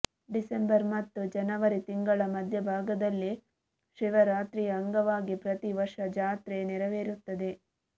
December ಮತ್ತು ಜನವರಿ ತಿಂಗಳ ಮಧ್ಯಭಾಗದಲ್ಲಿ ಶಿವರಾತ್ರಿಯ ಅಂಗವಾಗಿ ಪ್ರತಿವರ್ಷ ಜಾತ್ರೆ ನೆರವೇರುತ್ತದೆ